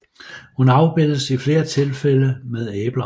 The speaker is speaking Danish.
Hun afbildes i flere tilfælde med æbler